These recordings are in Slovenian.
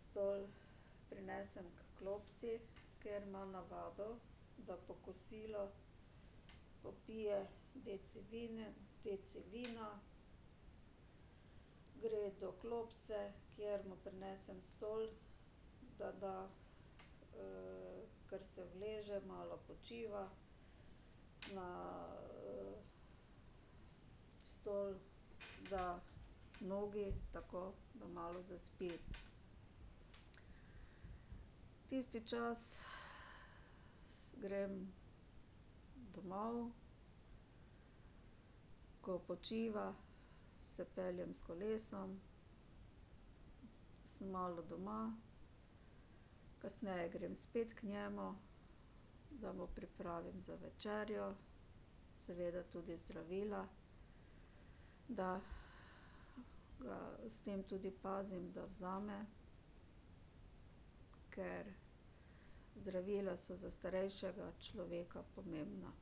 stol prinesem h klopci, ker ima navado, da po kosilu popije deci vine, deci vina. Gre do klopce, kjer mu prinesem stol, da, da, ker se uleže, malo počiva. Na stol da nogi, tako da malo zaspi. Tisti čas grem domov. Ko počiva, se peljem s kolesom, sem malo doma, kasneje grem spet k njemu, da mu pripravim za večerjo, seveda tudi zdravila, da ga s tem tudi pozimi, da vzame, ker zdravila so za starejšega človeka pomembna.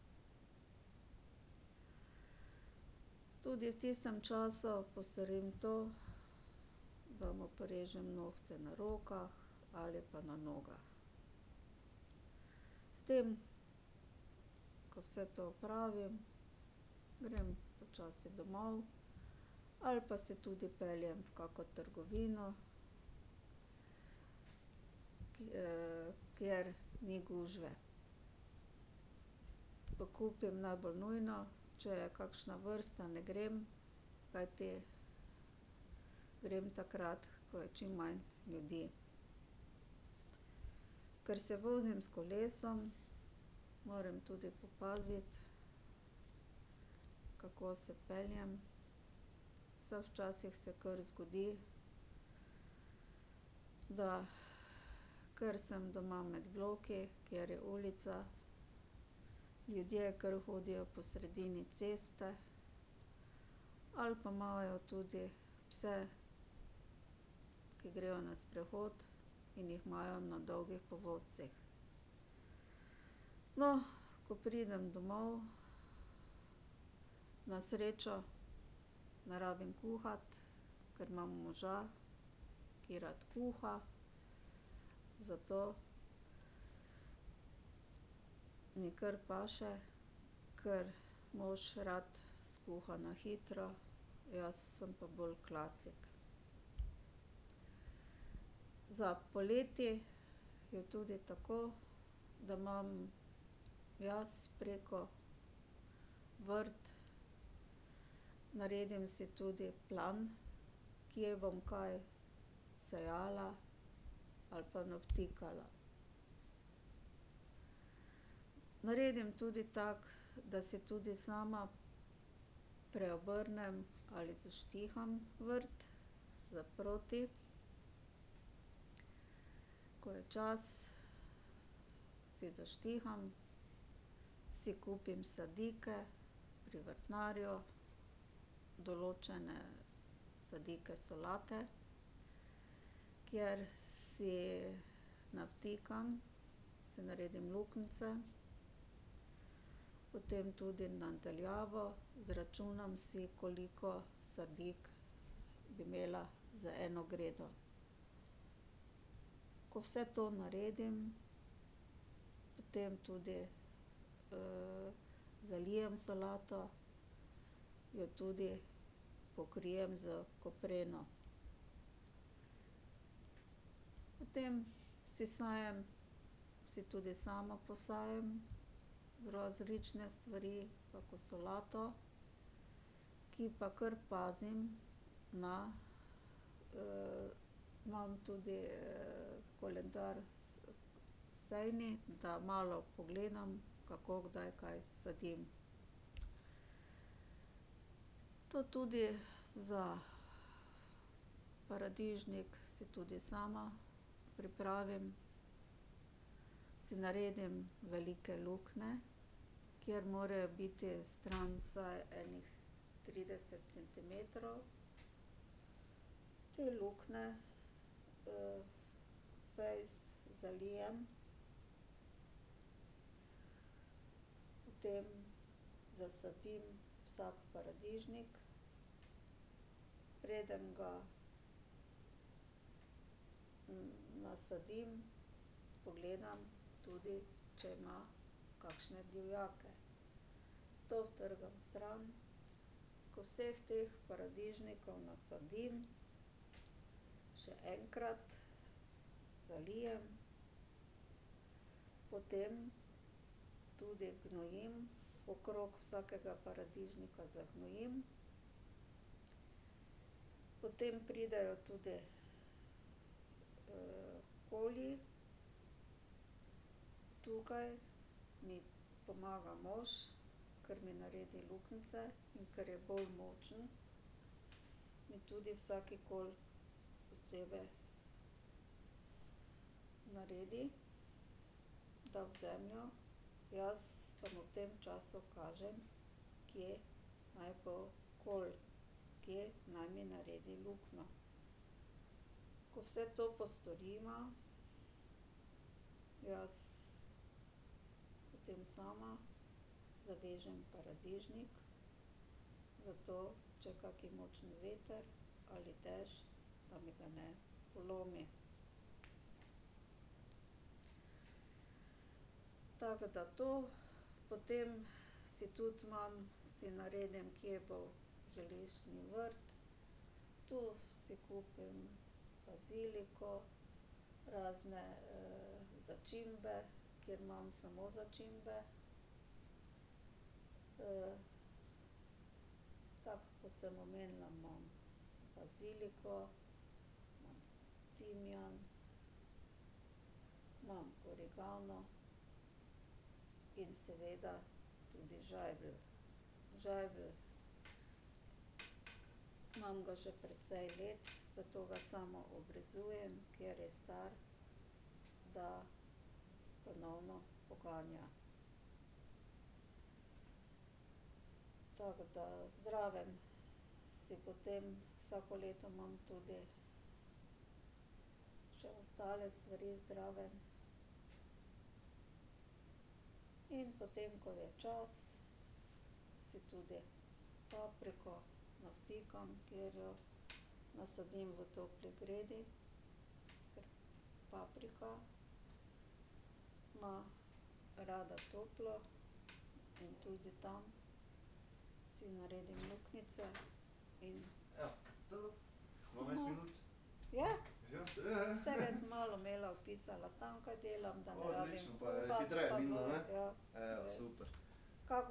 Tudi v tistem času, ko se, da mu porežem nohte na rokah ali pa na nogah. S tem, ko vse to opravim, grem počasi domov ali pa se tudi peljem v kako trgovino, ki kjer ni gužve. Pokupim najbolj nujno, če je kakšna vrsta, ne grem, kajti grem takrat, ko je čim manj ljudi. Ker se vozim s kolesom, morem tudi popaziti, kako se peljem, saj včasih se kar zgodi, da ker sem doma med bloki, kjer je ulica, ljudje kar hodijo po sredini ceste ali pa imajo tudi pse, ki grejo na sprehod in jih imajo na dolgih povodcih. No, ko pridem domov, na srečo ne rabim kuhati, ker imam moža, ki rad kuha, zato mi kar paše, kar mož rad skuha na hitro, jaz sem pa bolj klasik. Za poleti je tudi tako, da imam jaz preko vrt, naredim si tudi plan, kje bom kaj sejala ali pa navtikala. Naredim tudi tako, da si tudi sama preobrnem ali zaštiham vrt za proti. Ko je čas, si zaštiham, si kupim sadike pri vrtnarju, določene sadike solate, kjer si navtikam, si naredim luknjice, potem tudi na daljavo, izračunam si, koliko sadik bi imela za eno gredo. Ko vse to naredim, potem tudi zalijem solato, jo tudi pokrijem s kopreno. Potem si sejem, si tudi sama posejem različne stvari, kako solato, ki pa kar pazim na imam tudi koledar sejni, da malo pogledam, kako, kdaj kaj sadim. To tudi za paradižnik, si tudi sama pripravim, si naredim velike luknje, kjer morejo biti stran vsaj enih trideset centimetrov. Te luknje fejst zalijem, potem zasadim vsak paradižnik, preden ga nasadim, pogledam tudi, če ima kakšne divjake. To utrgam stran. Ko vseh teh paradižnikov nasadim, še enkrat zalijem, potem tudi gnojim, okrog vsakega paradižnika zagnojim. Potem pridejo tudi koli. Tukaj mi pomaga mož, kar mi naredi luknjice in ker je bolj močen, mi tudi vsak kol posebej naredi, da v zemljo, jaz pa mu v tem času kažem, kje naj bo kol, kje naj mi naredi luknjo. Ko vse to postoriva, jaz potem sama zavežem paradižnik, zato če je kak močen veter ali dež, da mi ga ne polomi. Tako da to, potem si tudi imam, si naredim, kje bo zeliščni vrt. Tu si kupim baziliko, razne začimbe, kjer imam samo začimbe. tako kot sem omenila, imam baziliko, imam timijan, imam origano in seveda tudi žajbelj. Žajbelj, imam ga že precej let, zato ga sama obrezujem, kjer je star, da ponovno poganja. Tako da, zraven si potem, vsako leto imam tudi še ostale stvari zraven. In potem, ko je čas, si tudi papriko navtikam, kjer jo nasadim v topli gredi, ker paprika ima rada toplo in tudi tam si naredim luknjice in ... Je? Vsega sem malo imela, opisala, tam, kaj delam, da ne rabim kuhati ... Ja.